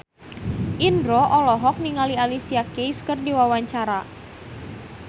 Indro olohok ningali Alicia Keys keur diwawancara